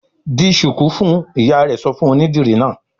"Di ṣùkú fún un!" Ìyá rẹ̀ sọ fún onídìrí náà.